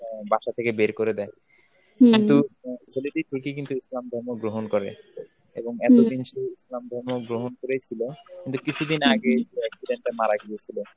অ্যাঁ বাসা থেকে বের করে দেয়. কিন্তু ছেলেটি খুশি ইসলাম ধর্ম গ্রহণ করে. এবং এত দিন সে ইসলাম ধর্ম গ্রহণ করেছিল, কিন্তু কিছুদিন আগে সে accident এ মারা গিয়েছিল.